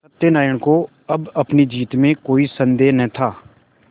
सत्यनाराण को अब अपनी जीत में कोई सन्देह न था